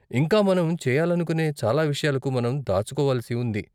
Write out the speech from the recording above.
ఇంకా, మనం చెయ్యాలనుకునే చాలా విషయాలకు మనం దాచుకోవలసి ఉంది.